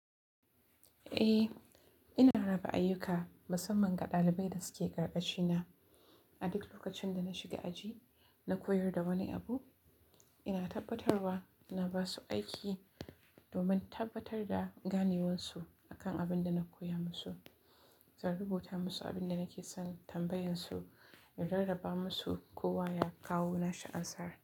Eh, ina raba ayyuka musamman ga ɗalibai da suke ƙarƙashina. A duk lokacin da na shiga aji na koyar da wani abu, ina tabbatarwa na ba su aiki domin tabbatar da ganewarsu akan abin da na koya musu, zan rubuta musu abin da nake son tambayansu, in rarraba musu kowa ya kawo nashi ansar.